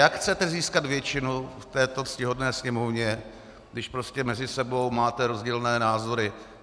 Jak chcete získat většinu v této ctihodné Sněmovně, když prostě mezi sebou máte rozdílné názory?